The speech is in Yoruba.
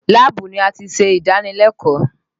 Láàbù ni a ti ṣe ìdánilẹ́kọ̀ọ́